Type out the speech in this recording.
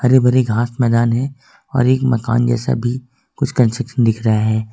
हरी भरी घास मैदान है और एक मकान जैसा भी कुछ कन्सक्शन दिख रहे हैं।